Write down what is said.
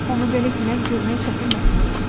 Onu belə gülən görmək çətin məsələ idi.